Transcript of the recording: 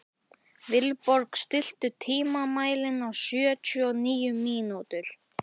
Vilborg, stilltu tímamælinn á sjötíu og níu mínútur.